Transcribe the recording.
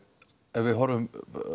ef við horfum